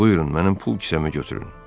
Buyurun, mənim pul kisəmi götürün.